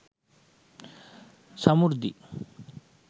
samurdhi